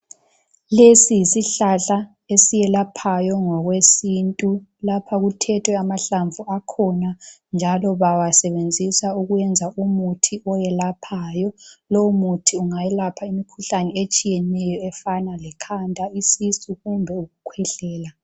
Lesi yisihlahla eselaphayo ngokwesintu. Lapha kuthethwe amahlamvu akhona njalo bawasebenzisa ukwenza umuthi oyelaphayo. Lowu muthi ungayelapha imikhuhlane etshiyeneyo efana lekhanda isisu kumbe ukukhwehlela.